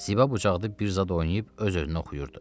Ziba bucaqda bir zad oynayıb öz-özünə oxuyurdu.